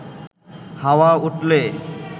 হাওয়া উঠলে